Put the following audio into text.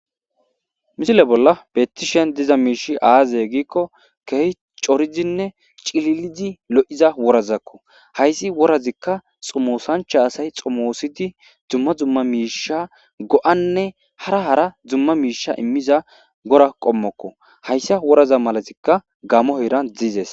misile bolla beettishen diza miishi aaze giikko kehi coridinne cililidi lo'iza worazakko hayssi worazikka xomoosancha asay xomoosidi dumma dumma miisha go'anne hara hara dumma miisha immiza wora qommokko hayssa woraza malazikka gamo hiran diizes